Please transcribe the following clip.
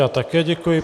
Já také děkuji.